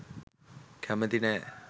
කැමති නෑ